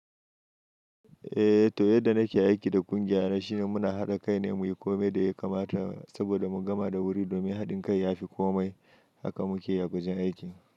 Eh to yadda nake aiki da ƙungiya na shine muna haɗa kai ne mu yi kome da ya kamata saboda mu gama da wuri domin haɗin kai ya fi komai. Haka muke yi a wajen aiki.